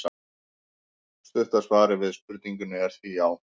Stutta svarið við spurningunni er því já!